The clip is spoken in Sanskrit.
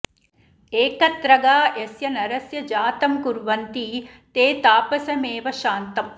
एकत्रगा यस्य नरस्य जातं कुर्वन्ति ते तापसमेव शान्तम्